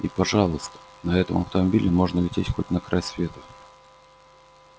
и пожалуйста на этом автомобиле можно лететь хоть на край света